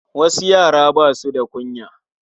Wasu yaran ba su da kunya.